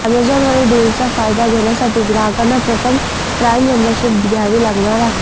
अॅमेझॉनवरील डिल्सचा फायदा घेण्यासाठी ग्राहकांना प्रथम प्राईम मेंबरशिप घ्यावी लागणार आहे